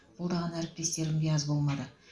қолдаған әріптестерім де аз болмады